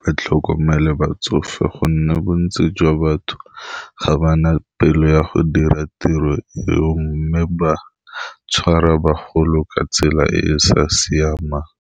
ba tlhokomele batsofe gonne bontsi jwa batho ga bana pelo ya go dira tiro eo mme ba tshwara bagolo ka tsela e e sa siamang.